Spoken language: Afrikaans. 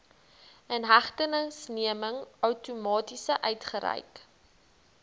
inhegtenisneming outomaties uitgereik